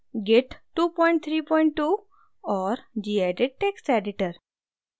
git 232 और gedit text editor